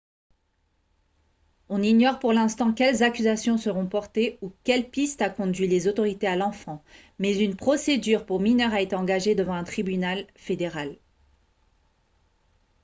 on ignore pour l'instant quelles accusations seront portées ou quelle piste a conduit les autorités à l'enfant mais une procédure pour mineurs a été engagée devant un tribunal fédéral